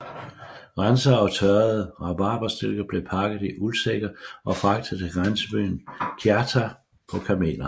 Rensede og tørrede rabarberstilke blev pakket i uldsække og fragtet til grænsebyen Kiachta på kameler